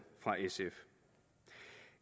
fra sf